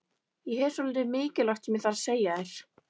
Ég hef svolítið mikilvægt sem ég þarf að segja þér.